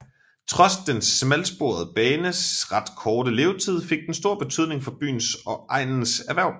Trods den smalsporede banes ret korte levetid fik den stor betydning for byens og egnens erhverv